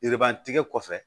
Yiriban tigɛ kɔfɛ